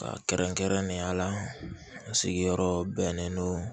Ka kɛrɛnkɛrɛnnenya la n sigiyɔrɔ bɛnnen don